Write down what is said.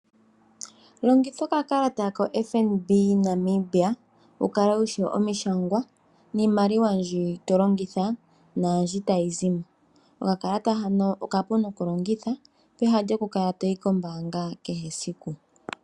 Longitha okakalata ko FNB Namibia wukale wushi omishangwa niimaliwa mbi tolongitha naambi tayi zi mo. Okakalata hano okapu nokulongitha peha lyokukala toyi kombaanga kehe esiku.